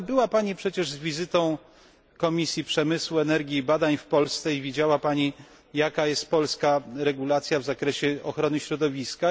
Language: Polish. Ale była przecież Pani z wizytą Komisji Przemysłu, Energii i Badań w Polsce i widziała Pani, jaka jest polska regulacja w zakresie ochrony środowiska.